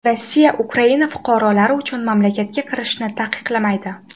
Rossiya Ukraina fuqarolari uchun mamlakatga kirishni taqiqlamaydi.